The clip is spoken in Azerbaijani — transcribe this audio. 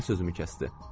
Nənə sözümü kəsdi.